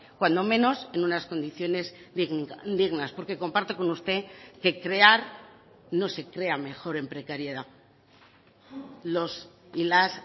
cuando menos en unas condiciones dignas porque comparto con usted que crear no se crea mejor en precariedad los y las